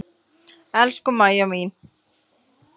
Elsku Maja mín.